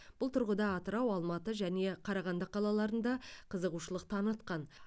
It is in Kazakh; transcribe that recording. бұл тұрғыда атырау алматы және қарағанды қалаларында қызығушылық танытқан